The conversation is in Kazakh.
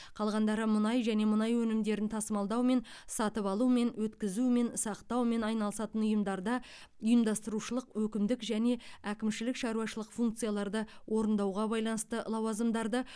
қалғандары мұнай және мұнай өнімдерін тасымалдаумен сатып алумен өткізумен сақтаумен айналысатын ұйымдарда ұйымдастырушылық өкімдік және әкімшілік шаруашылық функцияларды орындауға байланысты лауазымдарды